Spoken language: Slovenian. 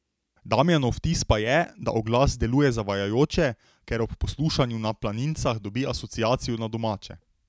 Damjanov vtis pa je, da oglas deluje zavajajoče, ker ob poslušanju Na planincah dobi asociacijo na domače.